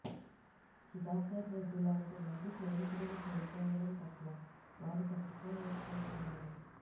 సుధాకర్ రెడ్డి లాంటి మంచి స్నేహితుడిని కోల్పోవడం పట్ల వారు తట్టుకోలేకపోతున్నారు